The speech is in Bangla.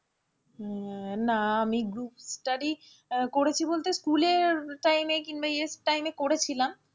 আহ না আমি group study আহ করেছি বলতে স্কুলের time কিংবা time এ করেছিলাম,